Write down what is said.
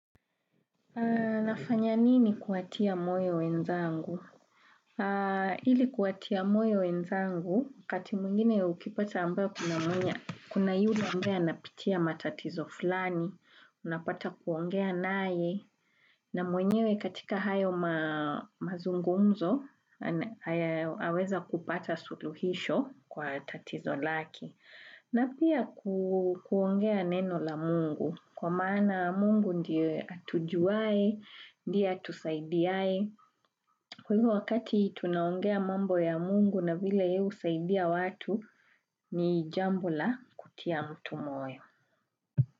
Nafanya nini kuatia moyo wenzangu? Hili kuatia moyo wenzangu kati mwingine ukipata ambayo kuna mwenye kuna yule ambaye anapitia matatizo fulani unapata kuongea nae na mwenyewe katika hayo mazungumzo. Naweza kupata suluhisho kwa tatizo lake. Na pia kuongea neno la mungu kwa maana mungu ndiye atujuwae ndiye atusaidiae. Kwa hivyo wakati tunaongea mambo ya mungu na vile ye husaidia watu ni jambo la kutia mtu moyo.